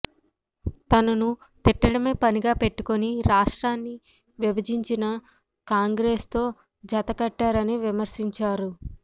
తనను తిట్టడమే పనిగా పెట్టుకుని రాష్ట్రాన్ని విభజించిన కాంగ్రెస్తో జత కట్టారని విమర్శించారు